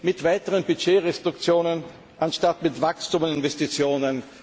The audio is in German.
Mit weiteren Budgetrestriktionen, anstatt mit Wachstum und Investitionen.